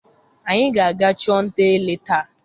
Anyị ga-aga chụọ nta ele taa.